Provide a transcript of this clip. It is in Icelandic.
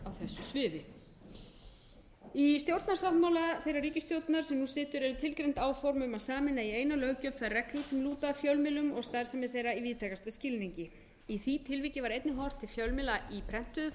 sviði í stjórnarsáttmála þeirrar ríkisstjórnar sem nú situr eru tilgreind áform um að sameina í eina löggjöf þær reglur sem lúta að fjölmiðlum og starfsemi þeirra í víðtækasta skilningi í því tilviki var einnig horft til fjölmiðla í prentuðu